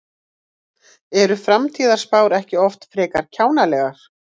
Eru framtíðarspár ekki oft frekar kjánalegar?